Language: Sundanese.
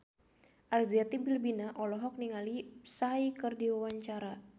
Arzetti Bilbina olohok ningali Psy keur diwawancara